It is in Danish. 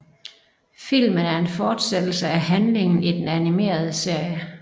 Filmen er en fortsættelse af handlingen i den animerede serie